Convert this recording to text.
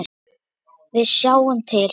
Við sjáum til.